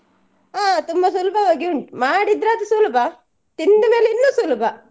ಹಾ ತುಂಬ ಸುಲ್ಬವಾಗಿ ಉಂಟು ಮಾಡಿದ್ರೆ ಅದು ಸುಲ್ಬ ತಿಂದ್ಮೇಲೆ ಅದು ಇನ್ನು ಸುಲ್ಬ.